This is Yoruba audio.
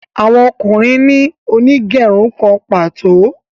Àwọn ọkùnrin ní Onigerun kán pàtó.